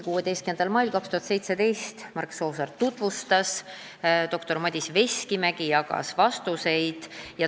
16. mail 2017 tutvustas eelnõu Mark Soosaar ja doktor Madis Veskimägi jagas vastuseid.